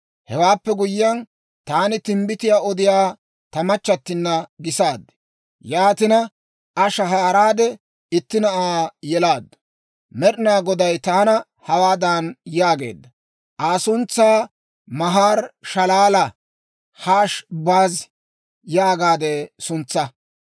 Hewaappe guyyiyaan, taani timbbitiyaa odiyaa ta machchattinna gisaad; yaatina, Aa shahaaraade itti na'aa yelaaddu; Med'inaa Goday taana hawaadan yaageedda; «Aa suntsaa, ‹Mahar-shalaal-Hash-Baaz› yaagaade suntsaa.